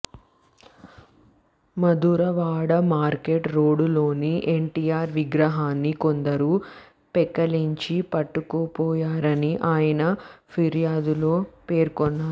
Madhurawada market రోడ్డులోని ఎన్టీఆర్ విగ్రహాన్ని కొందరు పెకలించి పట్టుకుపోయారని ఆయన ఫిర్యాదులో పేర్కొన్నారు